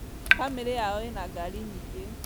Bamĩrĩ yao ĩna ngari nyingĩ